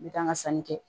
N bɛ taa n ka sanni kɛ